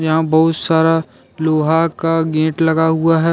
बहुत सारा लोहा का गेट लगा हुआ है।